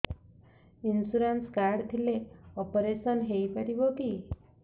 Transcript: insurance card ଥିଲେ operation ହେଇପାରିବ କି